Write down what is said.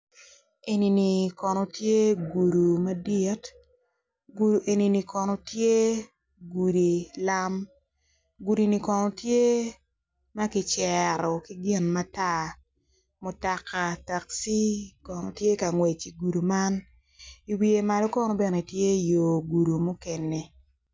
Eni ni kono tye gudu madit gudi eni kono tye gudu lam gudi ni kono tye ma kicero ki gin mata mutoka takci kono tye kangwec igunu man iwiye malo kono bene tye yo gudu mukene